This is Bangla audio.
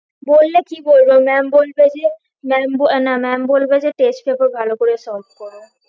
বললে কি বলবো maam বলবে যে maam আহ না maam বলবে যে test paper ভালো করে solve করো